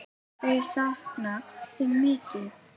Þau sakna þín mikið.